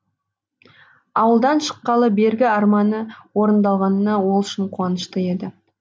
ауылдан шыққалы бергі арманы орындалғанына ол шын қуанышты еді